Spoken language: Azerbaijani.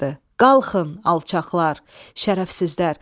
"Qalxın, alçaqlar, şərəfsizlər!